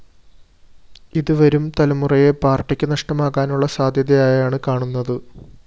ഇത്‌ വരും തലമുറയെ പാര്‍ട്ടിക്ക്‌ നഷ്ടമാകാനുള്ള സാധ്യതയായാണ്‌ കാണുന്നത്‌